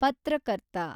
ಪತ್ರಕರ್ತ